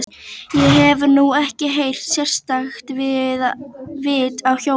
Ég hef nú ekkert sérstakt vit á hjólum.